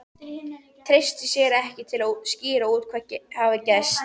Treysti sér ekki til að skýra út hvað hafði gerst.